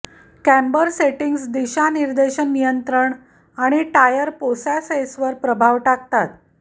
camber settings दिशानिर्देशन नियंत्रण आणि टायर पोशासेसवर प्रभाव टाकतात